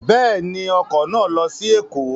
Bẹ́ẹ̀ni, ọkọ̀ náà lọ sí Ẹ̀kọ́